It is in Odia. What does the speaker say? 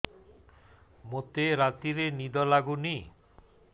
ମୋତେ ରାତିରେ ନିଦ ଲାଗୁନି